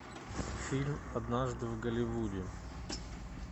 фильм однажды в голливуде